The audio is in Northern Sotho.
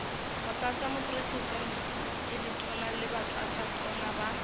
motlatšamopresidente ditona le batlatšatona ba